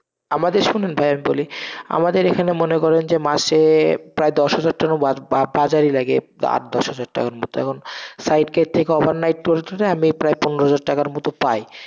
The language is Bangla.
আমাদের শুনুন ভাইয়া বলি, আমাদের এখানে মনে করেন যে মাসে, প্রায় দশ হাজার টাকার তো বাজারই লাগে, আট দশ হাজার টাকার মত, এখন side এর থেকে overnight করে করে আমি পনেরো হাজার টাকার মতন পাই,